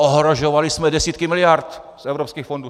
Ohrožovali jsme desítky miliard z evropských fondů!